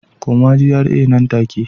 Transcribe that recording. Koma GRA nan take